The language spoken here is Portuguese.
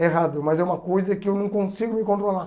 É errado, mas é uma coisa que eu não consigo me controlar.